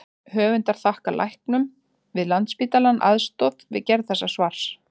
Höfundar þakkar læknum við Landspítalann aðstoð við gerð þessa svars.